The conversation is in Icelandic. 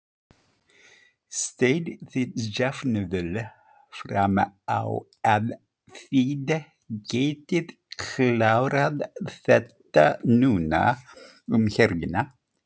Sjáið þið jafnvel fram á að þið getið klárað þetta núna um helgina?